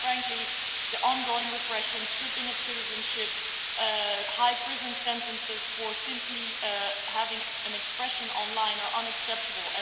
Quite frankly, the ongoing repression and stripping of citizenship, with high prison sentences for simply having an expression online are unacceptable.